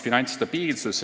Finantsstabiilsus.